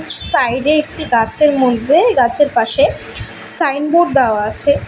Side -এ একটি গাছের মধ্যে গাছের পাশে সাইনবোর্ড দেওয়া আছে।